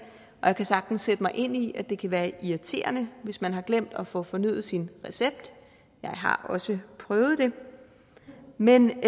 og jeg kan sagtens sætte mig ind i at det kan være irriterende hvis man har glemt at få fornyet sin recept jeg har også prøvet det men